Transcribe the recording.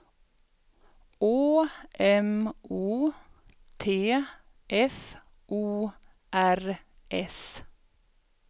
Å M O T F O R S